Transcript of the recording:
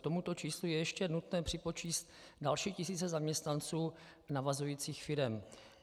K tomuto číslu je ještě nutné připočíst další tisíce zaměstnanců navazujících firem.